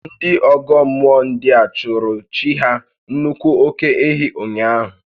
Ndị ọ́gọ́ mmụọ ndịa chụụrụ chi ha nnukwu óké-ehi ụnyaahụ